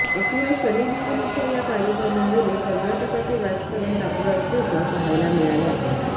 एकूणच सनी लिओनीच्या या कार्यक्रमावरुन कर्नाटकातील राजकारण तापलं असल्याचं पहायला मिळालं आहे